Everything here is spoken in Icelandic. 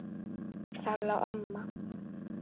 Þar lá mamma.